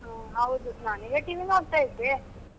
ಹು ಹೌದು ನಾನ್ ಇವಾಗ TV ನೋಡ್ತಾ ಇದ್ದೆ.